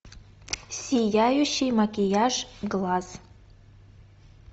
сияющий макияж глаз